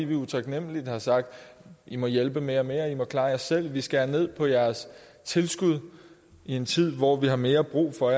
vi utaknemmeligt har sagt i må hjælpe mere og mere og klare jer selv vi skærer ned på jeres tilskud i en tid hvor vi har mere brug for